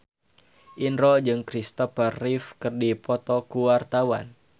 Indro jeung Christopher Reeve keur dipoto ku wartawan